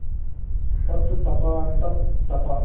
तप तपा तप तपा